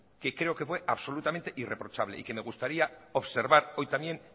que creo que fue absolutamente irreprochable y que me gustaría observar hoy también